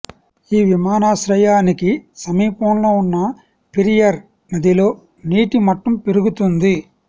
ఈ విమానాశ్రయానికి సమీపంలో ఉన్న పెరియార్ నదిలో నీటి మట్టం పెరుగుతుంది